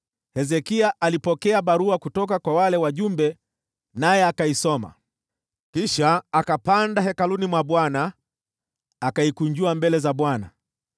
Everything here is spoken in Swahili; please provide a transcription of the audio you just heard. Hezekia akapokea barua kutoka kwa wale wajumbe naye akaisoma. Kisha akapanda katika Hekalu la Bwana , akaikunjua mbele za Bwana .